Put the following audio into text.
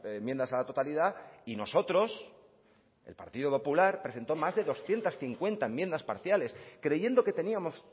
enmiendas a la totalidad y nosotros el partido popular presentó más de doscientos cincuenta enmiendas parciales creyendo que teníamos